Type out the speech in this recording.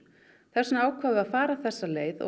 þess vegna ákváðum við að fara þessa leið og